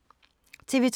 TV 2